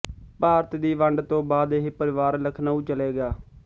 ਭਾਰਤ ਦੀ ਵੰਡ ਤੋਂ ਬਾਅਦ ਇਹ ਪਰਿਵਾਰ ਲਖਨਊ ਚਲੇ ਗਿਆ